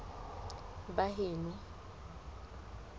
baheno